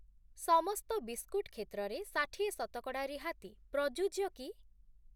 ସମସ୍ତ ବିସ୍କୁଟ୍‌ କ୍ଷେତ୍ରରେ ଷାଠିଏ ଶତକଡ଼ା ରିହାତି ପ୍ରଯୁଜ୍ୟ କି?